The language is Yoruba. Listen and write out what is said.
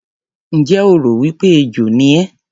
Ǹjẹ́ o rò wí pé ejò ni ẹ́?